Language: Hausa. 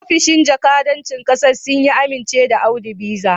Ofishin jakadancin kasar Sin ya amince da Audu Visa